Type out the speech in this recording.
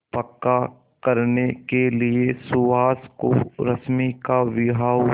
पक्का करने के लिए सुहास और रश्मि का विवाह